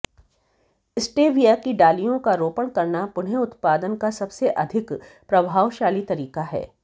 stevia की डालियों का रोपण करना पुनः उत्पादन का सबसे अधिक प्रभावशाली तरीका है